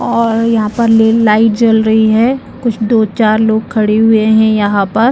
और यहाँ पर ले-लाइट जल रही है कुछ दो चार लोग खड़े हुए है यहाँ पर--